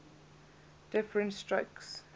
diff rent strokes